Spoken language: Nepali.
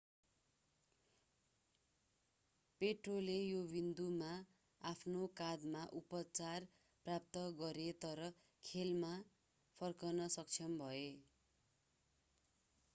पोट्रोले यो विन्दुमा आफ्नो काँधमा उपचार प्राप्त गरे तर खेलमा फर्कन सक्षम भए